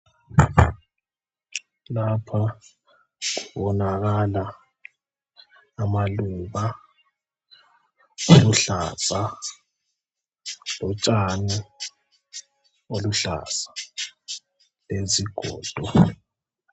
Lapha kubonakala amaluba aluhlaza lotshani olubuhlaza ,lezigodo.